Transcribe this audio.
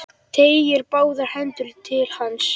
Teygir báðar hendur til hans.